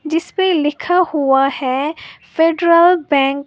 जिसपे लिखा हुआ है फेडरल बैंक ।